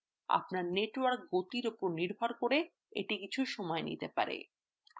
আপনার network গতির উপর নির্ভর করে এটি কিছু সময় নিতে পারে